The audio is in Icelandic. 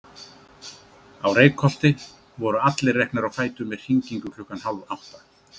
Á Reykholti voru allir reknir á fætur með hringingu klukkan hálf átta.